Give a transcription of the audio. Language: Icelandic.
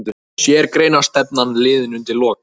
Séreignarstefnan liðin undir lok